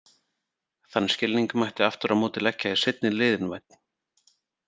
Þann skilning mætti aftur á móti leggja í seinni liðinn- vænn.